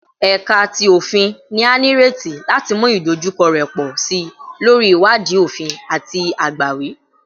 Ẹka ti Ofin ni a nireti lati mu idojukọ rẹ pọ si lori iwadii ofin ati agbawi